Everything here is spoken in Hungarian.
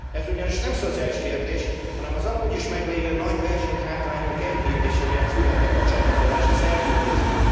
Ez ugyanis nem szociális kérdés, hanem az amúgy is meglévő nagy versenyhátrányunk enyhítése miatt született a csatlakozási szerződésben.